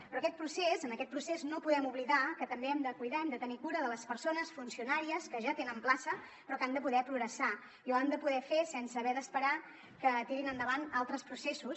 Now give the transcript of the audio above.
però en aquest procés no podem oblidar que també hem de cuidar hem de tenir cura de les persones funcionàries que ja tenen plaça però que han de poder progressar i ho han de poder fer sense haver d’esperar que tirin endavant altres processos